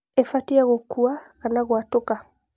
ĩbatie gũkua kana gwatũka